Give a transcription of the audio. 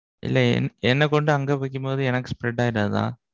இல்ல என்ன கொண்டு அங்க வைக்கும்போது எனக்கு spread ஆயிடாதா?